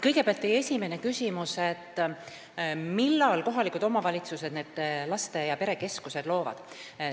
Kõigepealt, teie esimene küsimus, millal kohalikud omavalitsused need laste- ja perekeskused loovad.